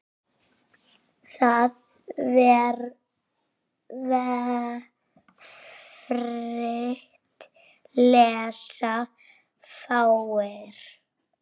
Það vefrit lesa fáir.